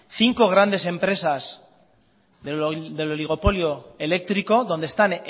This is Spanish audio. cinco grandes empresas del oligopolio eléctrico donde están